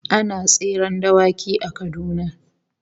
Ana tseren dawaki a Kaduna